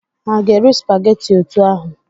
Ha ga-eri supageti otú ahụ?